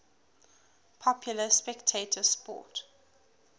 popular spectator sport